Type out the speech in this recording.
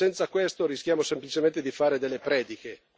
Senza questo rischiamo semplicemente di fare delle prediche.